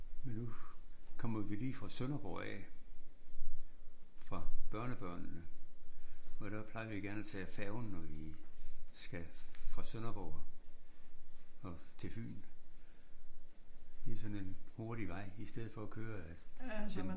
Men nu kommer vi lige fra Sønderborg af. Fra børnebørnene og der plejer vi gerne at tage færgen når vi skal fra Sønderborg og til Fyn. Det er sådan en hurtig vej i stedet for at køre den